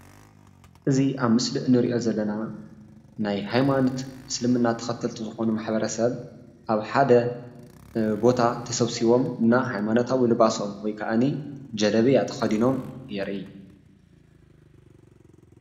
እዚ ኣብ ምስሊ ንርኦ ዘለና ናይ ሃይማኖት እስልምና ተከተልቲ ዝኮኑ ማ/ሕሰብ ኣብ ሓደ ቦታ ተሰብሲቦም ናይ ሃይማኖት ኣልባሶም ውይ ካዓን ጀልብያ ተክድኖም የርእይ።